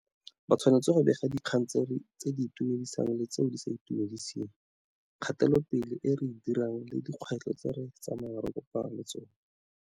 Ba tshwanetse go bega dikgang tse di itumedisang le tseo di sa itumediseng, kgatelopele e re e dirang le dikgwetlho tse re tsamayang re kopana le tsona.